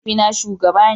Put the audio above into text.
Mahaifina shugaba ne.